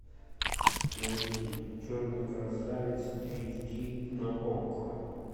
найти черный красавец эйч ди на окко